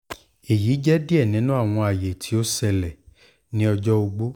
eyi jẹ diẹ ninu awọn aye ti o ṣẹlẹ ni ọjọ ogbó